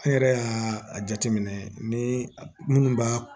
An yɛrɛ y'a jateminɛ ni minnu b'a